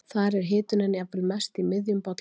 Þar er hitunin jafnvel mest í miðjum bollanum.